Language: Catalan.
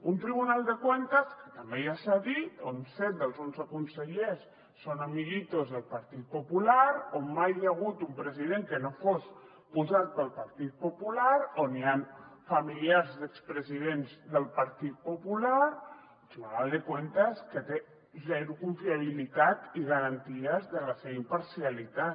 un tribunal de cuentas que també ja s’ha dit on set dels onze consellers són amiguitos del partit popular on mai hi ha hagut un president que no fos posat pel partit popular on hi han familiars d’expresidents del partit popular un tribunal de cuentas que té zero confiabilitat i garanties de la seva imparcialitat